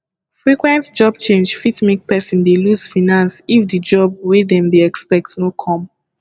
frequent job change fit make person dey loose finance if di job wey dem dey expect no come